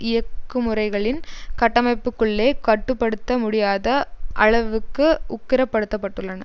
இயக்குமுறைகளின் கட்டமைப்புக்குள்ளே கட்டு படுத்த முடியாத அளவுக்கு உக்கிரப்படுத்தப்பட்டுள்ளன